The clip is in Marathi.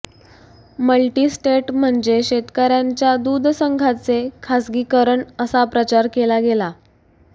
मल्टिस्टेट म्हणजे शेतकर्यांच्या दूध संघाचे खासगीकरण असा प्रचार केला गेला